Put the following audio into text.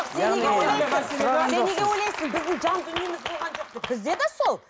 сен неге ойлайсың біздің жан дүниеміз болған жоқ деп бізде де сол